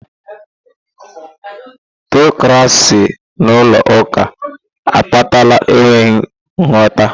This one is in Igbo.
Tịọkracị n'ụlọ ụka akpatala enweghị nhata.